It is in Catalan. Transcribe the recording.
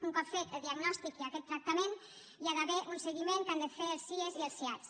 un cop fet el diagnòstic i aquest tractament hi ha d’haver un seguiment que han de fer els sie i els siad